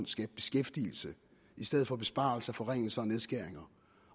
skabe beskæftigelse i stedet for besparelser forringelser og nedskæringer